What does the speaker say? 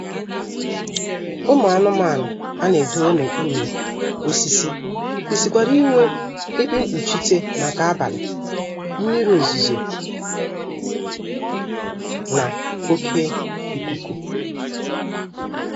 Ụmụ anụmanụ a na-edowe n'okpuru osisi kwesịrịkwara inwe ebe mkpuchite maka abalị, mmiri ozuzo na oké ikuku